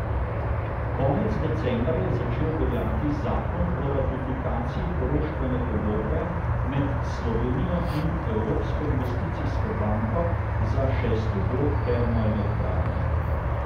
Konec decembra je začel veljati zakon o ratifikaciji poroštvene pogodbe med Slovenijo in Evropsko investicijsko banko za šesti blok termoelektrarne.